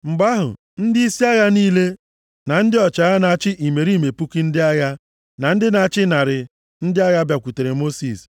Mgbe ahụ, ndịisi agha niile na ndị ọchịagha na-achị imerime puku ndị agha, na ndị na-achị narị ndị agha bịakwutere Mosis,